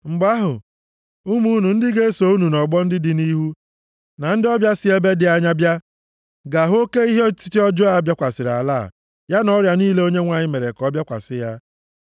Mgbe ahụ, ụmụ unu ndị ga-eso unu nʼọgbọ ndị dị nʼihu, na ndị ọbịa si ebe dị anya bịa, ga-ahụ oke ihe otiti ọjọọ a bịakwasịrị ala a, ya na ọrịa niile Onyenwe anyị mere ka ọ bịakwasị ya.